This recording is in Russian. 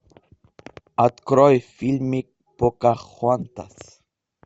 открой фильмик покахонтас